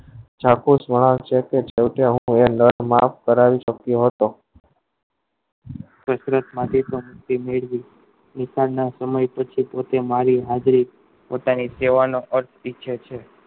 સાથે સોના ચલતે ચલતે હું એ LandMark કરાવી સક્યો હતો દુકાન ના ઓછે ઓછે મારી હાજરી એ કેહ્વાનો અર્થ ઈચ્છે છે